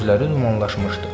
Gözləri dumanlaşmışdı.